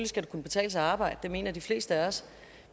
skal kunne betale sig at arbejde det mener de fleste af os